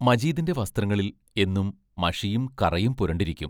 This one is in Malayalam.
മജീദിന്റെ വസ്ത്രങ്ങളിൽ എന്നും മഷിയും കറയും പുരണ്ടിരിക്കും.